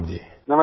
प्रणाम जी